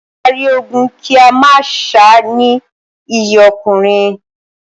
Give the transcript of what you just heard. Kí á rí ogun kí a má sá ni iyì ọkùnrin.